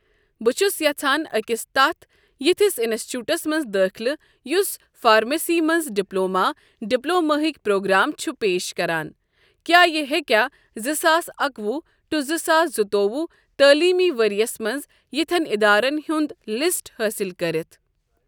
بہٕ چھُس یَژھان أکِس تتھ یِتھس اِنَسچوٹس منٛز دٲخلہٕ یُس فارمیسی منٛز ڈپلوما ڈِپلوماہُک پروگرام چھُ پیش کَران کیاہ یہِ ہیٚکیا زٕ ساس اَکوُہ ٹو زٕ ساس زٕتووُہ تعلیٖمی ؤرۍ یَس منٛز یِتھؠن ادارَن ہُنٛد لِسٹ حٲصِل کٔرِتھ۔